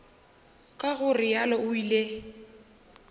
ka go realo o ile